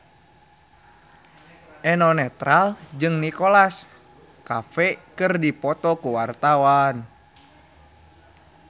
Eno Netral jeung Nicholas Cafe keur dipoto ku wartawan